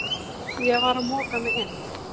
Ég var að moka mig inn